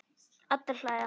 Allir hlæja.